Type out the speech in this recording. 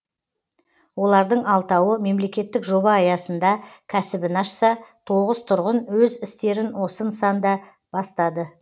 олардың алтауы мемлекеттік жоба аясында кәсібін ашса тоғыз тұрғын өз істерін осы нысанда бастады